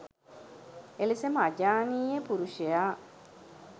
එලෙසම අජානීය පුරුෂයා